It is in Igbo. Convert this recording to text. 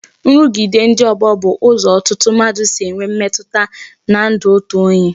Nrugide ndị ọgbọ bụ ụzọ ọtụtụ mmadụ si enwe mmetụta n'ndụ otu onye